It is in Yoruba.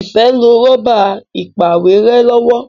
Ifẹ nlò Rọ́bà ìpàwérẹ́ lọwọ.